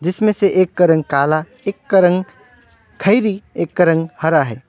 इसमें से एक का रंग काला एक रंग खैरी एक रंग हरा है।